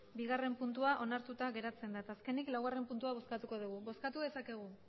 bigarrena puntua onartuta geratzen da eta azkenik laugarrena puntua bozkatuko dugu bozkatu dezakegu